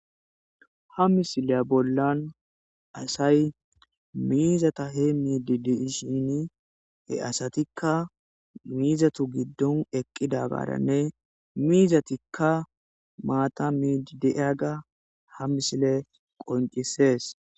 Ha misilya bolla asayi issi bolla de'shini ,he asatika mizatu giddoni eqidagaranne iza miyera mizatika maatta miidi de'iyaga ha misiley qoncises.